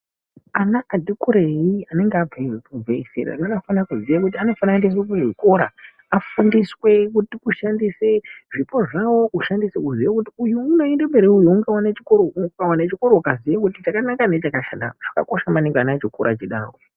Ana ati kurei anenge abve zera anofane kuziye kuti anofana kuendeswe kuzvikora. Afundiswe kushandise zvipo zvavo kushandise kuziya kuti uyu unoenda mberi uyu ungavane chikoro. Ukaziye kuti chakanaka nechakashata chakakosha maningi ana achikura achidaro.